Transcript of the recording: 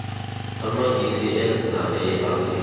amangisi eza e afrika